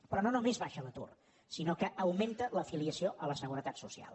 però no només baixa l’atur sinó que augmenta l’afiliació a la seguretat social